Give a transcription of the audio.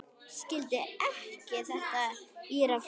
Skildi ekki þetta írafár.